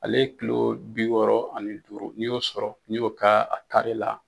Ale ye kulo bi wɔɔrɔ ani duuru n'i y'o sɔrɔ n'i y'o ka a taari la